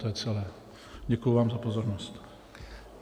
To je celé, děkuji vám za pozornost.